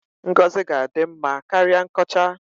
Ngọzi ka-adị mma karịa nkọcha.